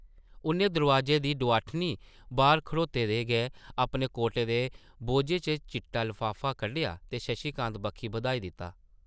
उʼन्नै दरोआजे दी डोआठनी बाह्र खड़ोते दे गै अपने कोटै दे बोह्जे चा चिट्टा लफाफा कड्ढेआ ते शशि कांत बक्खी बधाई दित्ता।